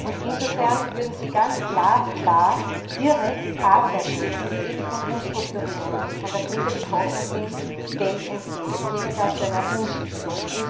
Und insofern würden sie ganz glasklar direkt Arbeitnehmern, die von Umstrukturierungen und von der Krise betroffen sind, Geld entziehen. Es käme da zu einer Umschichtung.